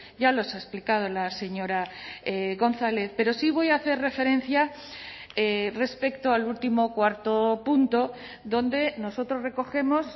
ya los ha explicado la señora gonzález pero sí voy a hacer referencia respecto al último cuarto punto donde nosotros recogemos